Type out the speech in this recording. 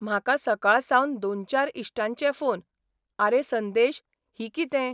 म्हाका सकाळसावन दोन चार इश्टांचे फोन, आरे संदेश, ही कितें